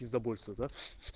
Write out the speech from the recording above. пиздабольство да